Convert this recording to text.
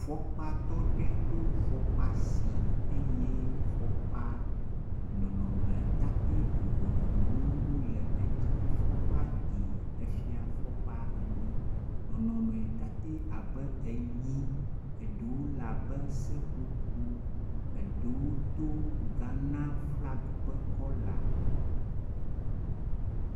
Fɔkpatɔ ɖe ɖo fɔkpa si eye fɔkpa nɔnɔmetate vovovowo wole edzi. Fɔkpa ɖi abe fie fɔkpa ene, nɔn ɔmetate abe enyi, eɖewo le abe seƒoƒo, eɖewo to Ghana flag be kɔla.